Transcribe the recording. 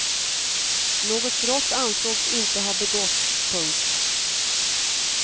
Något brott ansågs inte ha begåtts. punkt